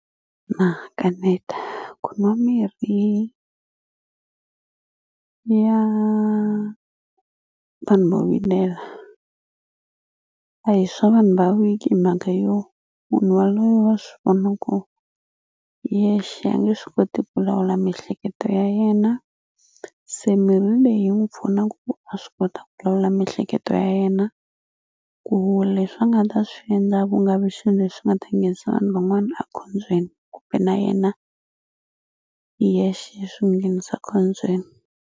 Na kaneta ku nwa mirhi ya vanhu vo vilela a hi swa vanhu va weak hi mhaka yo munhu waloye wa swi vona ku hi yexe a nge swi koti ku lawula miehleketo ya yena se mirhi leyi yi n'wu pfuna ku a swi kota ku lawula miehleketo ya yena ku leswi a nga ta swi endla ku nga vi swilo leswi nga ta nghenisa vanhu van'wana a khombyeni kumbe na yena hi yexe swi n'wi nghenisa khombyeni.